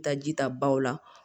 Taa ji ta baw la